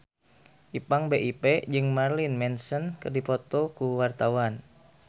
Ipank BIP jeung Marilyn Manson keur dipoto ku wartawan